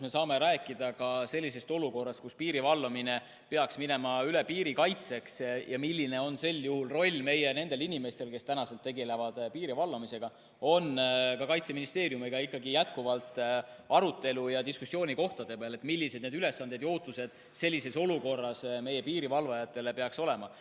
Ma saan kinnitada, see olukord, kus piiri valvamine peaks minema üle piiri kaitseks, ja see, milline on sel juhul nende meie inimeste roll, kes täna tegelevad piiri valvamisega, on ka Kaitseministeeriumiga ikkagi jätkuvalt arutelu ja diskussiooni koht, et millised need ülesanded meie piirivalvajatel ja meie ootused nendele sellises olukorras peaksid olema.